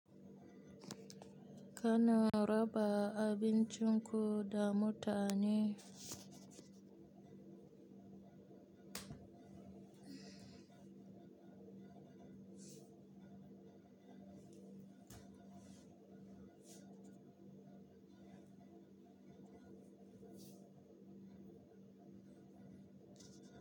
Ka na raba abincin ku da mutane?